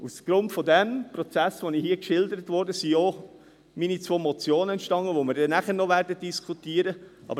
Aufgrund dieses Prozesses, den ich hier geschildert habe, sind auch meine zwei Motionen entstanden, die wir dann nachher noch diskutieren werden.